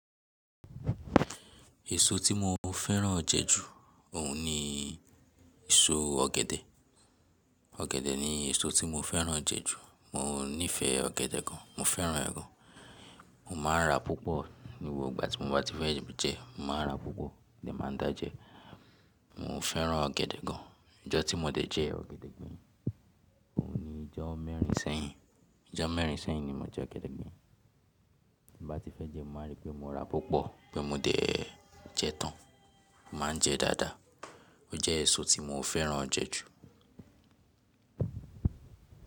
Èso tí mo fẹ́ràn jẹ ju òun ni èso ọ̀gẹ̀dẹ̀. Ọ̀gẹ̀dẹ̀ ni èso tí mo fẹ́ràn jẹ ju. Mo nífẹ̀ẹ́ ọ̀gẹ̀dẹ̀ gan. Mo fẹ́ràn ẹ gan. Mo máa n ra púpọ̀ ní gbogbo igba tí mo bá ti fẹ́ jẹ, mo máa n ra púpọ̀, mo máa n dà jẹ. Mo fẹ́ràn ọ̀gẹ̀dẹ̀ gan. Ọjọ́ tí mo dẹ̀ jẹ ọ̀gẹ̀dẹ̀ gbeyin, òun ni ọjọ́ mẹ́rin sẹ́yìn. Ọjọ́ mẹ́rin sẹ́yìn ni mo jẹ ọ̀gẹ̀dẹ̀ gbín. Bí mo bá ti fẹ́ jẹ, mo máa n rí pé mo ra púpọ̀, pé mo dẹ̀ jẹ tán. Mo máa ń jẹ dáadáa. Ó jẹ́ èso tí mo fẹ́ràn jẹ ju.